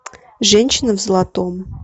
женщина в золотом